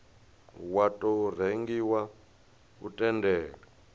wa tou rengiwa u tendela